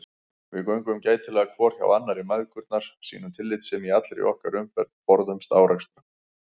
Við göngum gætilega hvor hjá annarri mæðgurnar, sýnum tillitssemi í allri okkar umferð, forðumst árekstra.